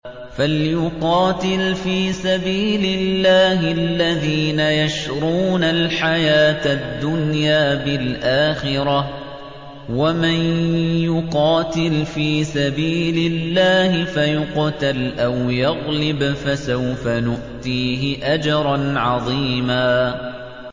۞ فَلْيُقَاتِلْ فِي سَبِيلِ اللَّهِ الَّذِينَ يَشْرُونَ الْحَيَاةَ الدُّنْيَا بِالْآخِرَةِ ۚ وَمَن يُقَاتِلْ فِي سَبِيلِ اللَّهِ فَيُقْتَلْ أَوْ يَغْلِبْ فَسَوْفَ نُؤْتِيهِ أَجْرًا عَظِيمًا